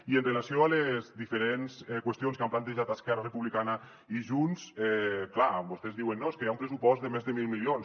i amb relació a les diferents qüestions que han plantejat esquerra republicana i junts clar vostès diuen no és que hi ha un pressupost de més de mil milions